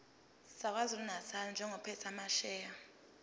sakwazulunatali njengophethe amasheya